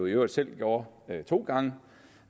øvrigt selv gjorde to gange